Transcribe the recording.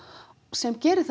sem gerir